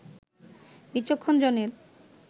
বিচক্ষণ জনের